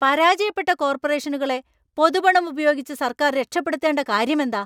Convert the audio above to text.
പരാജയപ്പെട്ട കോർപ്പറേഷനുകളെ പൊതുപണം ഉപയോഗിച്ച് സർക്കാർ രക്ഷപ്പെടുത്തേണ്ട കാര്യമെന്താ?